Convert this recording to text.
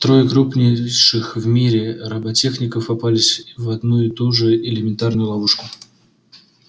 трое крупнейших в мире роботехников попались в одну и ту же элементарную ловушку